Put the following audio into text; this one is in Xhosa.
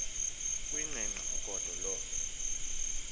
kuyiqengqa ugodo loo